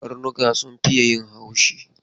Karnuka sun fiye yin haushi.